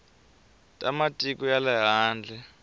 ta matiko ya le handle